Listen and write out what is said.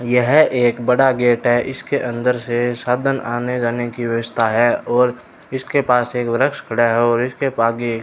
यह एक बड़ा गेट है इसके अंदर से साधन आने जाने की व्यवस्था है और इसके पास एक वृक्ष खड़ा है और इसके आगे --